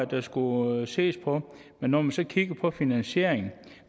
der skulle ses på men når man så kigger på finansieringen